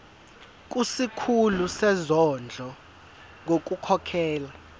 kusikhulu sezondlo ngokukhokhela